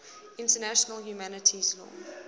international humanitarian law